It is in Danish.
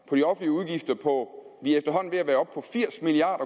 på de offentlige udgifter på firs milliard